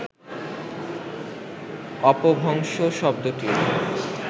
অপভ্রংশ শব্দটির